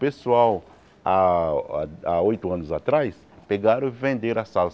Pessoal, há há oito anos atrás, pegaram e venderam a sales.